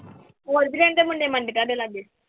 ਹੋਰ ਵੀ ਰਹਿੰਦੇ ਮੁੰਡੇ ਮਾਂਡੇ ਤੁਹਾਡੇ ਲਾਗੇ?